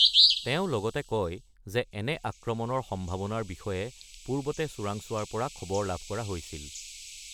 তেওঁ লগতে কয় যে এনে আক্ৰমণৰ সম্ভাৱনাৰ বিষয়ে পূৰ্বতে চোৰাংচোৱাৰ পৰা খবৰ লাভ কৰা হৈছিল।